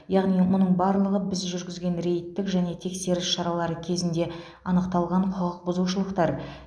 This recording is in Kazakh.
яғни мұның барлығы біз жүргізген рейдтік және тексеріс шаралары кезінде анықталған құқық бұзушылықтар